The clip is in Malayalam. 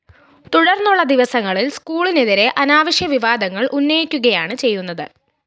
തുടര്‍ന്നുള്ള ദിവസങ്ങളില്‍ സ്‌കൂളിനെതിരെ അനാവശ്യവിവാദങ്ങള്‍ ഉന്നയിക്കുകയാണ് ചെയ്യുന്നത്